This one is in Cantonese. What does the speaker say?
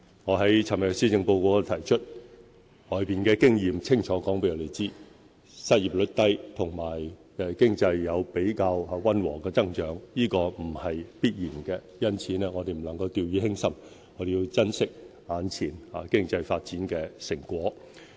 我昨天在施政報告中提到，外圍的經驗清楚告訴我們，失業率低和經濟有比較溫和的增長，並不是必然的，因此我們不能夠掉以輕心，要珍惜眼前經濟發展的成果。